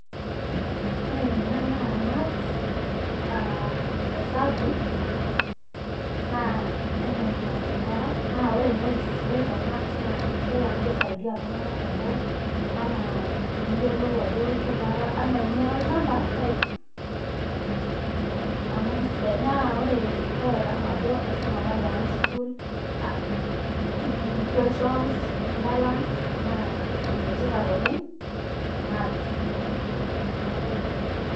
Ore ena naa math aa esabu naa enaa enaas nkera naa ore entoki sidai te math naa kesidai amu kasaidia iltung'anak teboo enaa eniyiolou kebaa enaa eunore olchamba naai amu kisidai naa kaitadamu ajo aisuma apa high school, equations nimbalance naa enetipat oleng' maths neeku ina.